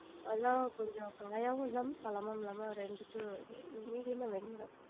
கொஞ்சம் காயாவும் இல்லாம பழமாவும் இல்லாம ரெண்டுத்துலயும் medium ஆ வேணும் madam